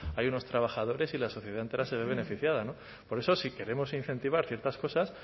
hay unos trabajadores y la sociedad entera se ve beneficiada por eso si queremos incentivar ciertas cosas